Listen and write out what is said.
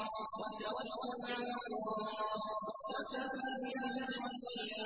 وَتَوَكَّلْ عَلَى اللَّهِ ۚ وَكَفَىٰ بِاللَّهِ وَكِيلًا